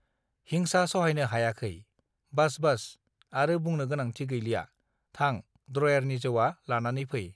हिंसा सहायनो हायाखै बास बास आरो बुंनो गोनांथि गैलिया थां द्रयारनि जौआ लानानै फै